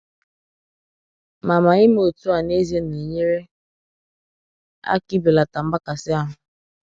Mà Mà ịmè otú à n'ezie na-enyère aka ịbelata mgbakasị ahụ.